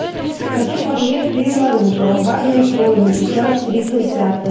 хочу посмотреть фильм наруто ураганные хроники часть тридцать пятая